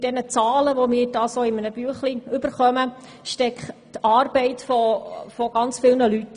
Hinter diesen Zahlen, die wir da erhalten haben, steckt die Arbeit ganz vieler Leute.